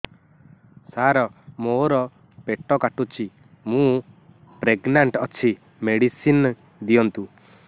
ସାର ମୋର ପେଟ କାଟୁଚି ମୁ ପ୍ରେଗନାଂଟ ଅଛି ମେଡିସିନ ଦିଅନ୍ତୁ